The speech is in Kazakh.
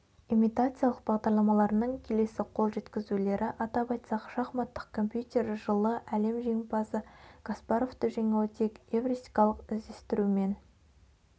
имитациялық бағдарламаларының келесі қол жеткізулері атап айтсақ шахматтық компьютер жылы әлем жеңімпазы каспаровты жеңуі тек эвристикалық іздестірумен